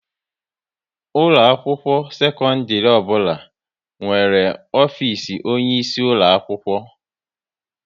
Ụlọ akwụkwọ sekondiri ọbụla nwere ofisi onye isi ulo akwụkwọ